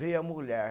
Veio a mulher.